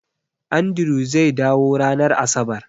Andrew zai dawo ranar Asabar